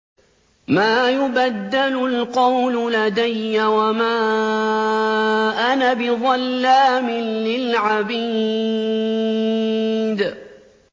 مَا يُبَدَّلُ الْقَوْلُ لَدَيَّ وَمَا أَنَا بِظَلَّامٍ لِّلْعَبِيدِ